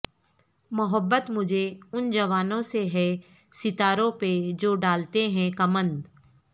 محبت مجھے ان جوانوں سے ہے ستاروں پہ جو ڈالتے ہیں کمند